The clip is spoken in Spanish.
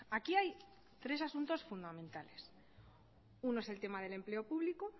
aquí hay tres asuntos fundamentales uno es el tema del empleo público otro